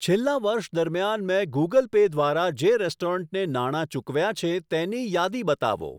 છેલ્લા વર્ષ દરમિયાન મેં ગૂગલ પે દ્વારા જે રેસ્ટોરન્ટને નાણા ચૂકવ્યાં છે તેની યાદી બતાવો.